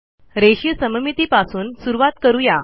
रेषीय सममितीपासून सुरूवात करू या